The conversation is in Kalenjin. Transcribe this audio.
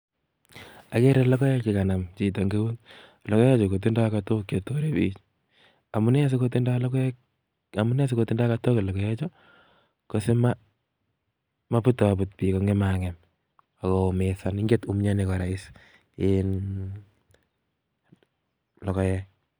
Ageree logoek che kanam chito en iut. Tindoi katook che torei biik si matkonaam biik ako ngem